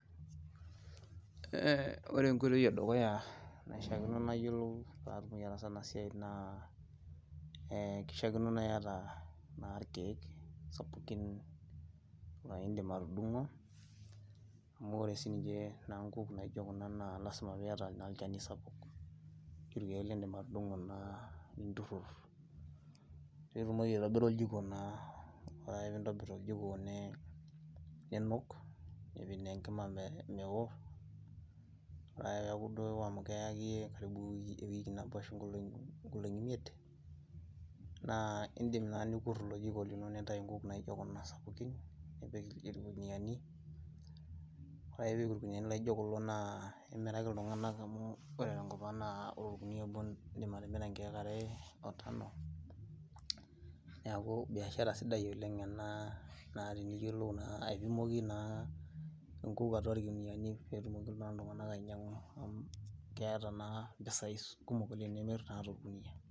Eeh, wore enkoitoi edukuya naishakino nayolou paatumoki ataasa enasiai naa eeh kishaakino naata naa irkek sapukun laa idim atudungo , amu wore sininche nguk naijo kuna naa lasima pee iyata naa olchani sapuk ,irkek lidim atudungo naa nitutur , nitumoki aitobira oljiko naa wore ake pee intobir oljiko niinuk , nipik naa enkima meewo , wore ake peeyaku duo ewo amu keya akeyie ewiki nabo ashu inkolongi imiet naa idim naa nikur ilo jiko lino nitayu inkuk naijo kuna sapukin nipik irkuniani , wore ake pii ipik irkuniani laijo kulo naa imiraki iltunganak amu wore tenkop ang naa wore orkunia obo naa idim atimira ikek are oo tano , niaku biashara sidai oleng enaa naa tiniyolou naa aipimoki naa inkuk atua irkuniani pee tumoki naa iltunganak ainyangu amu ketaa naa impisai kumok oleng naa tenimir toorkunia.